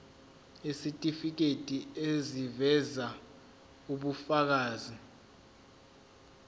isitifiketi eziveza ubufakazi